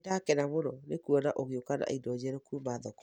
Nĩ ndakena mũno nĩkuona ũgĩũka na indo njerũ kũma thoko